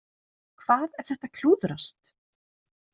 Hvað ef þetta klúðrast?